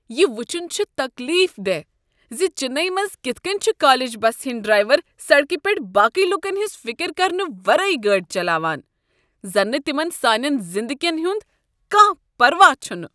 یہ وٕچھن چھ تکلیف دہ ز چننے منٛز کتھ کٔنۍ چھ کالج بسہ ہنٛدۍ ڈرٛایور سڑکہ پٮ۪ٹھ باقٕے لوٗکن ہٕنٛز فکر کرنہٕ ورٲے گٲڑۍ چلاوان۔ زن نہٕ تمن سانین زندگین ہُنٛد کانٛہہ پروا چھُنہٕ۔